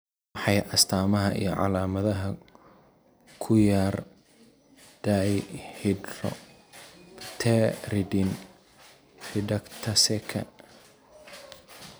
Waa maxay astamaha iyo calaamadaha ku yaaaaar Dihydropteridine reductaseka?